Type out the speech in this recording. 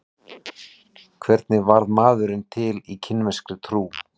Hvernig varð maðurinn til í kínverskri trú?